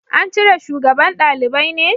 An cire shugaban dalibai ne?